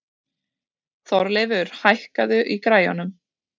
Þorleifur, hækkaðu í græjunum.